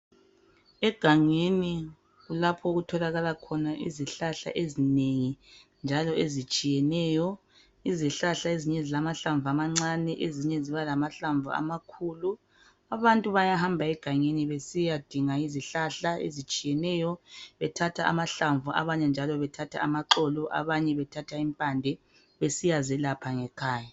Egangeni kulapho okutholakala izihlahla ezinengi ezitshiyeneyo izihlahla ezinye zilamahlamvu amancane ezinye ziba lamahlamvu amakhulu abantu bayahamba egangeni besiyadinga izihlahla ezitshiyeneyo bethathe amahlamvu abanye njalo bethathe amaxolo abanye bethathe impande besiyazelapha ngekhaya